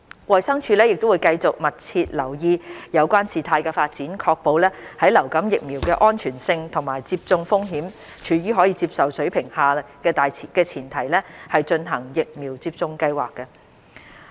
衞生署會繼續密切留意有關事態發展，確保在流感疫苗的安全性和接種風險處於可接受水平的前提下進行疫苗接種計劃。